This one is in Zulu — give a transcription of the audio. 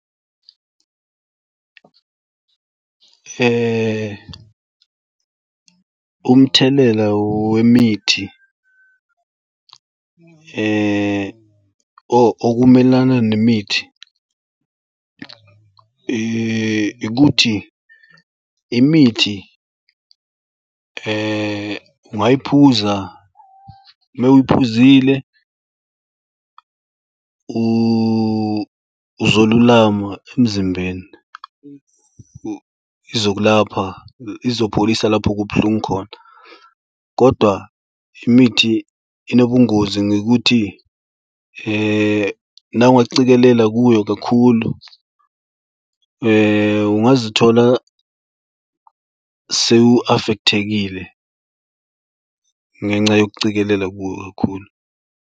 Umthelela wemithi okumelana nemithi ikuthi imithi ungayiphuza ume uyiphuzile uzolulama emzimbeni izokulapha izopholisa lapho kubuhlungu khona. Kodwa imithi inobungozi ngokuthi nawe ungacikelela kuyo kakhulu ungazithola sewu-affect-ekile ngenxa yokucikelela kuyo kakhulu.